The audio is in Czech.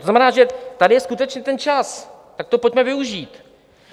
To znamená, že tady je skutečně ten čas, tak to pojďme využít.